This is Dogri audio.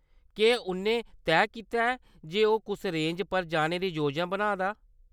केह्‌‌ उʼन्नै तैऽ कीता जे ओह्‌‌ कुस रेंज पर जाने दी योजना बनेा दा ?